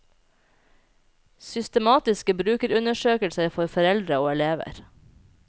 Systematiske brukerundersøkelser for foreldre og elever.